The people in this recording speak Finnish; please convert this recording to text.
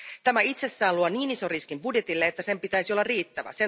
Tämä itsessään luo niin ison riskin budjetille, että sen pitäisi olla riittävä.